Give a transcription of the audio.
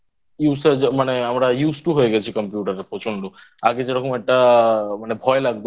মানে আমরা Use To হয়ে গেছি Computer এর প্রচন্ড আগে যেরকম একটা মানে ভয় লাগতো